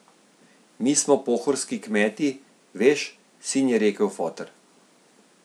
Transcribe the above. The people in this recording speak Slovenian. Mi smo pohorski kmeti, veš, sin, je rekel foter.